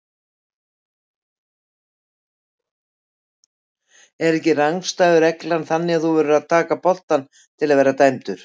Er ekki rangstæðu reglan þannig að þú verður að taka boltann til að vera dæmdur?